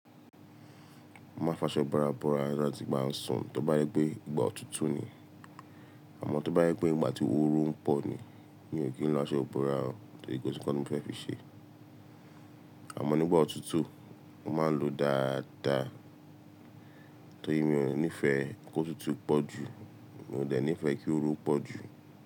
Mo máa ń fa aṣọ búra búra láti ìgbà tí mo sùn tó bá yẹ pé ìgbà òtútù ni. Àmọ́ tó bá yẹ pé ìgbà tí oru ń pọ̀ ni, mi ò kí ń lo aṣọ ibora tóri kosi nkan tí mo fẹ́ fi ṣe. Àmọ́ nígbà òtútù, mo máa ń lo dáadáa torí mi ò ní ìfẹ́ kó òtútù pọ̀ jù, mo dẹ̀ ní ìfẹ́ kí oru pọ̀ jù.